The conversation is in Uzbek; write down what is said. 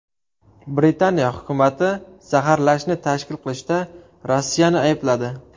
Britaniya hukumati zaharlashni tashkil qilishda Rossiyani aybladi.